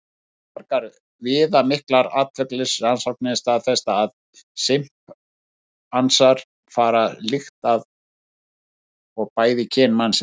Fjölmargar viðamiklar atferlisrannsóknir staðfesta að simpansarnir fara líkt að og bæði kyn mannsins.